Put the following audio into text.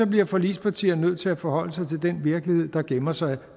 bliver forligspartierne nødt til at forholde sig til den virkelighed der gemmer sig